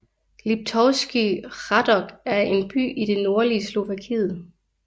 Liptovský Hrádok er en by i det nordlige Slovakiet